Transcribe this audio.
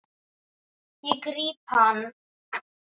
Ég gríp hana.